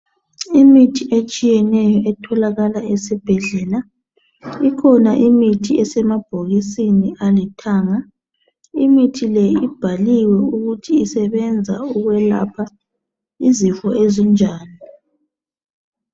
Kukhona imithi etshiyeneyo etholakala ezibhedlela, eminye yakhona isemabhokisini alithanga. Imithi leyi ibhaliwe indlela okumele isetshenziswe ngayo.